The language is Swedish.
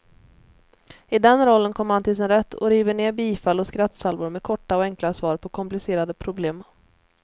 I den rollen kommer han till sin rätt, och river ner bifall och skrattsalvor med korta och enkla svar på komplicerade problem.